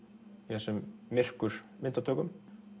þessum myrkur myndatökum